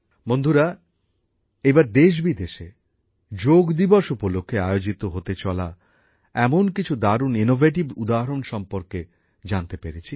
বন্ধুরা এইবার দেশ বিদেশে যোগ দিবস উপলক্ষে আয়োজিত হতে চলা বেশ কিছু দারুণ উদ্ভাবনমূলক উদ্যোগ সম্পর্কে জানতে পেরেছি